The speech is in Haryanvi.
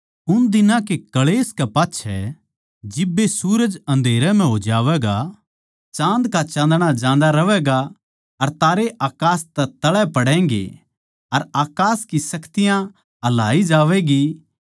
उन दिनां के क्ळेश कै पाच्छै जिब्बे सूरज अन्धेरै म्ह हो जावैगा चाँद का चाँदणा जान्दा रहवैगा अर तारे अकास तै तळै पड़ैंगें अर अकास की शक्तियाँ हलाई जावैंगी